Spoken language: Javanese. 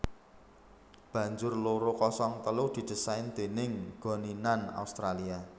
Banjur loro kosong telu didésain déning Goninan Australia